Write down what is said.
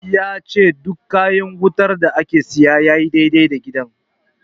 Ya ce duk kayan wutar da aka siya sun yi dai-dai da gidan.